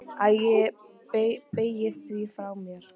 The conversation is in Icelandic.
Æ ég bægi því frá mér.